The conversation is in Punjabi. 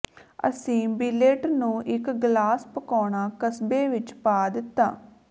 ਅਸੀਂ ਬਿੱਲੇਟ ਨੂੰ ਇਕ ਗਲਾਸ ਪਕਾਉਣਾ ਕਸਬੇ ਵਿਚ ਪਾ ਦਿੱਤਾ